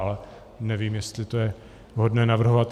Ale nevím, jestli to je vhodné navrhovat.